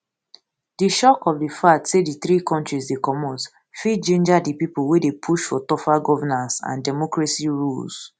di shock of di fact say di three kontris dey comot fit ginger di pipo wey dey push for tougher governance and democracy rules